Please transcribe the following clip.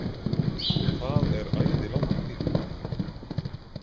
Það er æði langur tími.